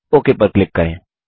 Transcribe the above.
okay पर click करें